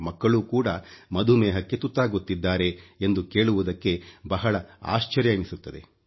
ಮಕ್ಕಳೂ ಕೂಡ ಮಧುಮೇಹಕ್ಕೆ ತುತ್ತಾಗುತ್ತಿದ್ದಾರೆ ಎಂದು ಕೇಳುವುದಕ್ಕೆ ಬಹಳ ಆಶ್ಚರ್ಯ ಎನಿಸುತ್ತದೆ